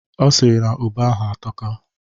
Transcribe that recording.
Ọ sịrị na ube ahụ atọka.